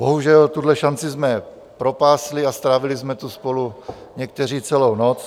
Bohužel tuhle šanci jsme propásli a strávili jsme tu spolu někteří celou noc.